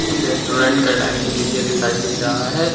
Restaurant का dining area दिखाई दे रहा है।